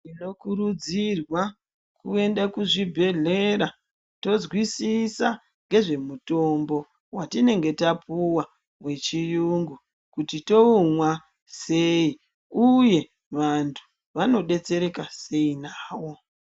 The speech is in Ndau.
Tinokurudzirwa kuend kuzvibhedhlera tozvizisa ngezvemutombo watinenge tapuwa wechiyungu kuti toumwa sei uye vantu vanodetsereka sei nawo.